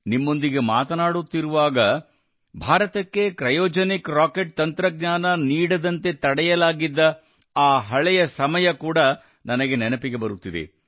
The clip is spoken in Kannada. ನಿಮ್ಮೊಂದಿಗೆ ಮಾತನಾಡುತ್ತಿರುವಾಗ ಭಾರತಕ್ಕೆ ಕ್ರಯೋಜನಿಕ್ ರಾಕೆಟ್ ತಂತ್ರಜ್ಞಾನ ನೀಡದಂತೆ ತಡೆಯಲಾಗಿದ್ದ ಆ ಹಳೆಯ ಸಮಯ ಕೂಡಾ ನನಗೆ ನೆನಪಿಗೆ ಬರುತ್ತಿದೆ